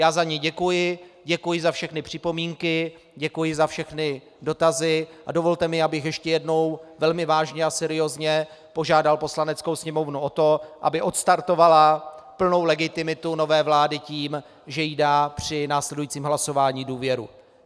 Já za ni děkuji, děkuji za všechny připomínky, děkuji za všechny dotazy a dovolte mi, abych ještě jednou velmi vážně a seriózně požádal Poslaneckou sněmovnu o to, aby odstartovala plnou legitimitu nové vlády tím, že jí dá při následujícím hlasování důvěru.